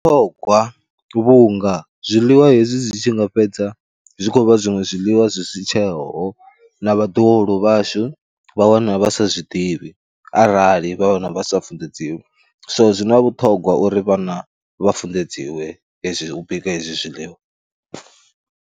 Zwi na vhuṱhogwa vhunga zwiḽiwa hezwi zwi tshi nga fhedza zwi khou vha zwiṅwe zwiḽiwa zwi si tsheho na vhaḓuhulu vhashu vha wana vha sa zwi ḓivhi arali vha vhana vha sa funḓedziwe, so zwi na vhuṱhongwa uri vhana vha funḓedziwe hezwi u bika hezwi zwiḽiwa.